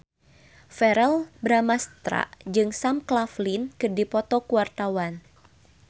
Verrell Bramastra jeung Sam Claflin keur dipoto ku wartawan